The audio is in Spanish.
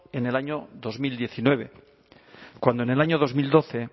en el año dos mil diecinueve cuando en el año dos mil doce